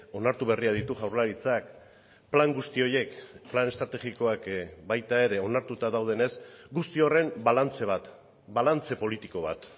onartu berriak ditu jaurlaritzak plan guzti horiek plan estrategikoak baita ere onartuta daudenez guzti horren balantze bat balantze politiko bat